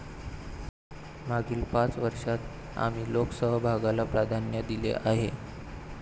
मागील पाच वर्षात आम्ही लोकसहभागाला प्राधान्य दिले आहे.